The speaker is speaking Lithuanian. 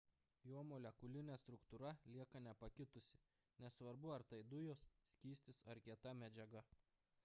jo molekulinė struktūra lieka nepakitusi nesvarbu ar tai dujos skystis ar kieta medžiaga